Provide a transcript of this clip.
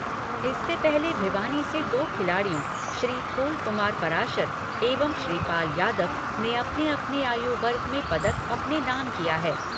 इससे पहले भिवानी से दो खिलाड़ियों श्री फूल कुमार पराशर एवं श्रीपाल यादव ने अपने अपने आयु वर्ग में पदक अपने नाम किया है।